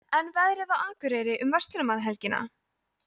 en veðrið á akureyri um verslunarmannahelgina